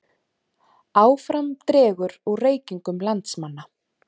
Áfram dregur úr reykingum landsmanna